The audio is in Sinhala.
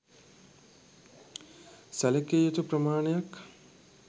සැලකිය යුතු ප්‍රමානයක්.